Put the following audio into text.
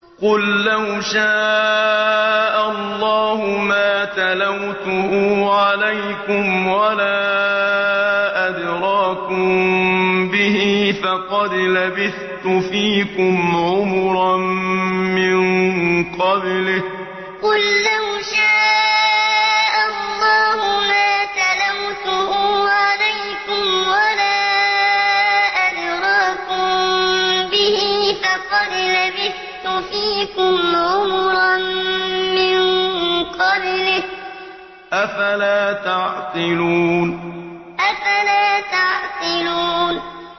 قُل لَّوْ شَاءَ اللَّهُ مَا تَلَوْتُهُ عَلَيْكُمْ وَلَا أَدْرَاكُم بِهِ ۖ فَقَدْ لَبِثْتُ فِيكُمْ عُمُرًا مِّن قَبْلِهِ ۚ أَفَلَا تَعْقِلُونَ قُل لَّوْ شَاءَ اللَّهُ مَا تَلَوْتُهُ عَلَيْكُمْ وَلَا أَدْرَاكُم بِهِ ۖ فَقَدْ لَبِثْتُ فِيكُمْ عُمُرًا مِّن قَبْلِهِ ۚ أَفَلَا تَعْقِلُونَ